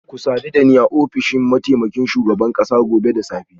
Ku sadu da ni a ofishin mataimakin shugaban kasa gobe da safe